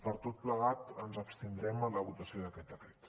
per tot plegat ens abstindrem en la votació d’aquest decret